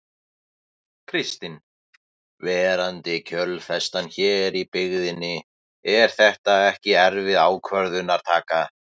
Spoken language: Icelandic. Kristinn: Verandi kjölfestan hér í byggðinni er þetta ekki erfið ákvörðunartaka?